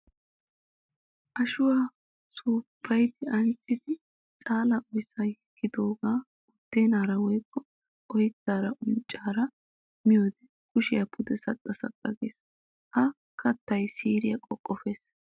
Ashuwa suufayiddi ancciddi caala oyssa yeggidooga buddenaara woykko oyttaranne unccara miyoode kushiyara pude pude saxxa saxxa gees. Ha kattay siiriya qoqqoppes.